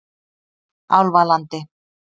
Álfalandi